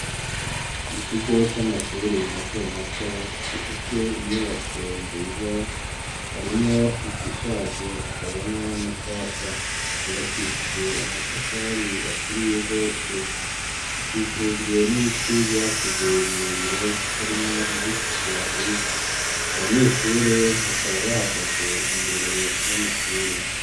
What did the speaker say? Ikigo c'amashuri mato mato, gifise inyubako nziza harimwo izishaje hakabamwo na nshasha, zubakishije amatafari aturiye zose, zikikujwe n'ibiti vyakuze birebire harimwo ivy'utujwari, abanyeshure bakaba bahagaze imbere y'amashuri.